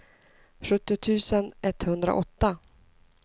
sjuttio tusen etthundraåtta